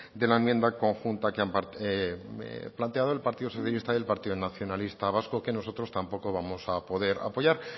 de la enmienda conjunta que han planteado el partido socialista y el partido nacionalista vasco que nosotros tampoco vamos a poder apoyar